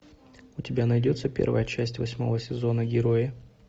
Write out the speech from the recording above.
у тебя найдется первая часть восьмого сезона герои